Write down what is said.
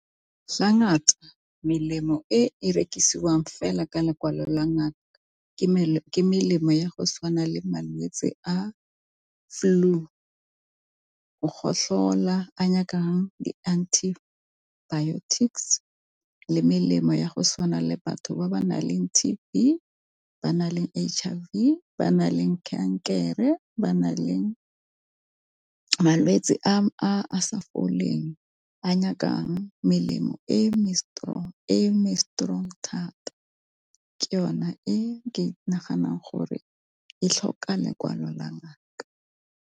Fa ngata melemo e e rekisiwang fela ka lekwalo la ngaka ke melemo ya go tshwana le malwetse a flu, go gotlhola a nyakang di-antibiotics le melemo ya go tshwana le batho ba ba naleng T_B, ba ba nang le H_I_V, ba na leng kankere, ba nang le malwetsi a a sa fa leng a nyakang melemo e me-strong thata ke yona ke naganang gore e tlhoka lekwalo la ngaka.